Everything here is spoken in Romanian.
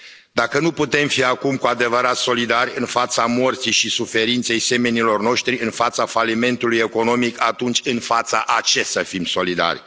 Dacă nu putem fi acum cu adevărat solidari în fața morții și suferinței semenilor noștri, în fața falimentului economic, atunci în fața a ce să fim solidari?